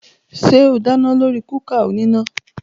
Ṣé o dáná lórí kúkà oníná?